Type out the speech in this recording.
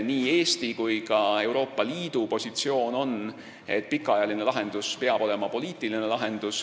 Nii Eesti kui ka Euroopa Liidu positsioon on, et pikaajaline lahendus peab olema poliitiline.